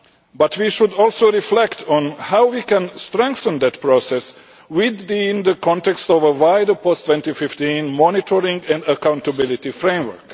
But we should also reflect on how we can strengthen that process, within the context of a wider post 2015 monitoring and accountability framework.